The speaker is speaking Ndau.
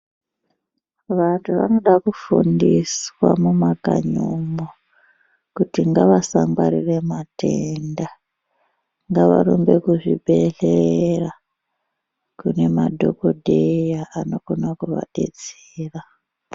Vantu vanoda kufundiswa mumakanyi umwo kuti ngavasangwarire matenda ngavarumbe kuzvibhedhlera kune madhokodheya anokone kuvabetsera.